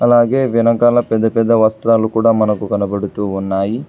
అలాగే వెనకాల పెద్ద పెద్ద వస్త్రాలు కూడా మనకు కనబడుతూ ఉన్నాయి.